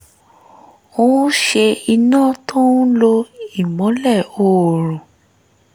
ó ṣe iná tó ń lo ìmọ́lè oòrùn